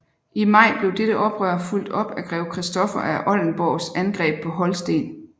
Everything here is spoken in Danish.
I maj blev dette oprør fulgt op af Grev Christoffer af Oldenburgs angreb på Holsten